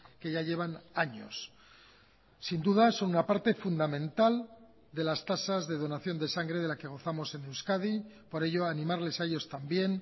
que ya llevan años sin duda son una parte fundamental de las tasas de donación de sangre de la que gozamos en euskadi por ello animarles a ellos también